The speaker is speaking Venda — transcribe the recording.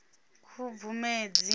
khubvumedzi